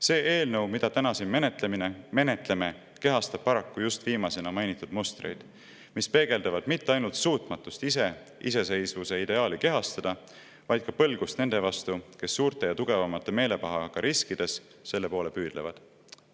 See eelnõu, mida me täna siin menetleme, kehastab paraku just viimasena mainitud mustreid, mis peegeldavad mitte ainult suutmatust ise iseseisvuse ideaali kehastada, vaid ka põlgust nende vastu, kes suurte ja tugevamate meelepahaga riskides selle poole püüdlevad.